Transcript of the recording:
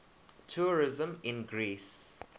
tourism in greece